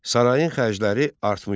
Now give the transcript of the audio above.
Sarayın xərcləri artmışdı.